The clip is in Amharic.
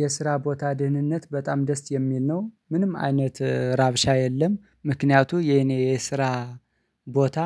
የስራ ቦታ ድህንነት በጣም ደስ የሚል ነው ምንም አይነት ረብሻ የለም። ምክንያቱ የኔ የስራ ቦታ